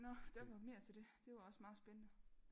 Nå der var mere til det det var også meget spændende